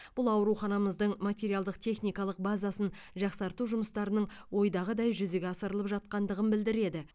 бұл ауруханымыздың материалдық техникалық базасын жақсарту жұмыстарының ойдағыдай жүзеге асырылып жатқандығын білдіреді